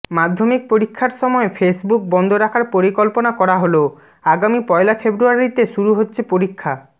মাধ্যমিক পরীক্ষার সময় ফেসবুক বন্ধ রাখার পরিকল্পনা করা হল আগামী পয়লা ফেব্রুয়ারিতে শুরু হচ্ছে পরীক্ষা